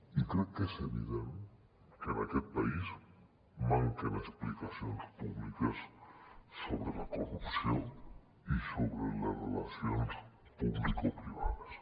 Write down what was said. i crec que és evident que en aquest país manquen explicacions públiques sobre la corrupció i sobre les relacions publicoprivades